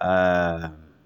um